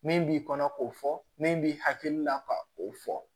Min b'i kɔnɔ k'o fɔ min b'i hakili la ka o fɔ